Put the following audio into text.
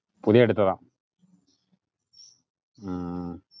പുതിയ എടുത്തതാ ഉം